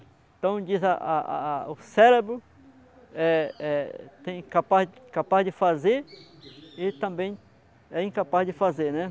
Então diz, a, a, a, o cérebro é, é tem capaz de fazer e também é incapaz de fazer, né?